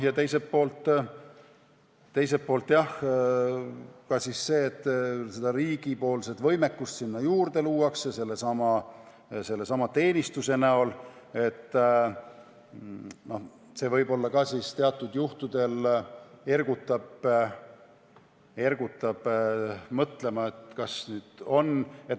Teiselt poolt, jah, see, et luuakse ka seda riigi võimekust sinna juurde sellesama teenistuse näol, võib-olla ka teatud juhtudel ergutab mõtlema, kuidas asjad on.